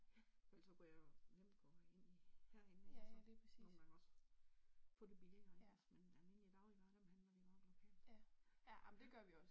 For ellers kunne jeg jo nemt gå ind i herinde ik altså, nogle gange også få det billigere ik altså, men almindelige dagligvarer dem handler vi meget lokalt ik ja